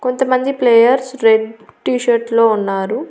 కొంతమంది players red T shirt లో ఉన్నారు.